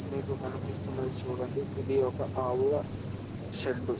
మీకు కనిపిస్తున్నది చూడండి ఇది ఒక ఆవుల షెడ్డు .